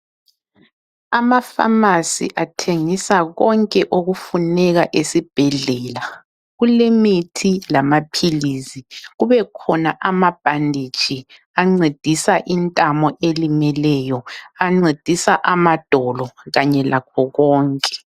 Ama pharmacy athengisa konke okufuneka esibhedlela. Kulemithi lamaphilisi kube khona amabhanditshi ancedisa intamo elimeleyo, ancedisa amadolo kanye lakho konke.